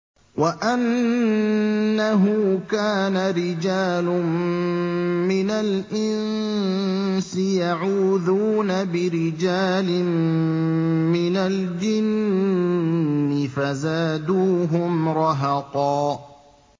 وَأَنَّهُ كَانَ رِجَالٌ مِّنَ الْإِنسِ يَعُوذُونَ بِرِجَالٍ مِّنَ الْجِنِّ فَزَادُوهُمْ رَهَقًا